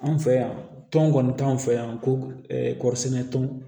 Anw fɛ yan tɔn kɔni t'anw fɛ yan ko kɔɔri sɛnɛ tɔn